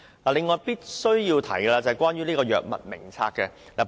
此外，我必須談談有關《醫院管理局藥物名冊》的問題。